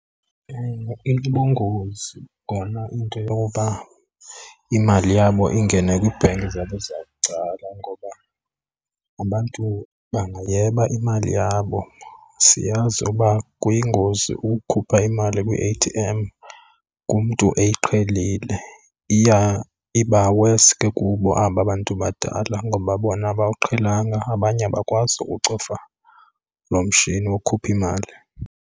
Ewe, inobungozi kona into yoba imali yabo ingene kwii-bank zabo zabucala ngoba abantu bangayeba imali yabo. Siyazi ukuba kuyingozi ukukhupha imali kwi-A_T_M kumntu eyiqhelile, iya iba worse ke kubo aba bantu badala ngoba bona abawuqhelanga abanye abakwazi uwucofa lo mtshini wokukhupha imali.